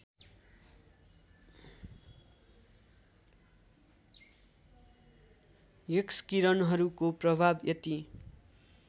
एक्सकिरणहरूको प्रभाव यति